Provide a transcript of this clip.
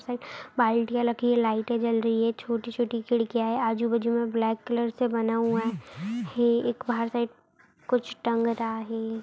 बाल्टीया लगी है लाइटे जल रही है छोटी-छोटी खिड़कियाँ है आजू-बाजू मे ब्लैक कलर से बना हुआ है एक बाहर साइड कुछ टंग रहा है।